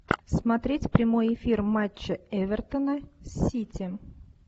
смотреть прямой эфир матча эвертона с сити